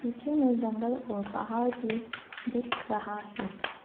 पीछे मे जंगल और पहाड़ भी दिख रहा है।